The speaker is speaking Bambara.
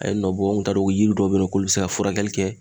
A ye nɔ bɔ an kun t'a dɔn ko yiri dɔw be yen nɔ k'o be se ka furakɛli kɛ